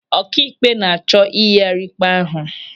Ọkaikpe na-achọ iyighari ikpe ahụ.